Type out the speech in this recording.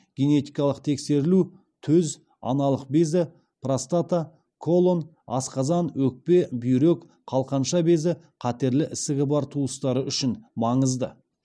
генетикалық тексерілу төз аналық безі простата колон асқазан өкпе бүйрек қалқанша безі қатерлі ісігі бар туыстары үшін маңызды